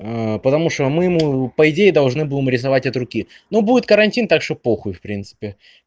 потому что мы ему по идее должны будем рисовать от руки но будет карантин так что похуй в принципе